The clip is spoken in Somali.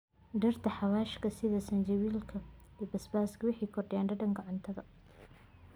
Dhirta xawaashka sida zanjabilka iyo basbaaska waxay kordhiyaan dhadhanka cuntada.